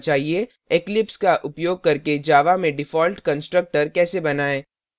eclipse का उपयोग करके java में default constructor कैसे बनाएँ